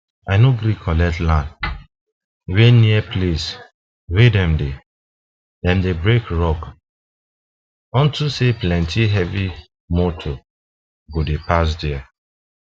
i nor gree collect land wen near place wen dem dey dem dey break rocks unto say plenti heavy moto go dey pass der